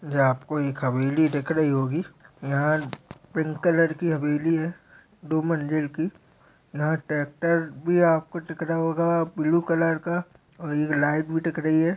आपको एक हवेली दिख रही होगी यहाँ पिंक कलर की हवेली है दो मंज़िल की यहाँ ट्रैक्टर भी आपको दिख रहा होगा ब्लू कलर का और यह लाइट भी दिख रही है।